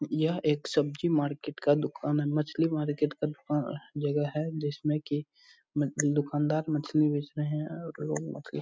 यह एक सब्जी मार्केट का दुकान है मछली मार्केट का दुकान जगह है जिसमें की दूकानदार मछली बेच रहे हैं और लोगो मछली --